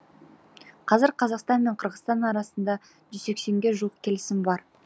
қазір қазақстан мен қырғызстан арасында жүз сексенге жуық келісім бар